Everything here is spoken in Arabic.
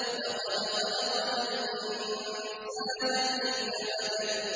لَقَدْ خَلَقْنَا الْإِنسَانَ فِي كَبَدٍ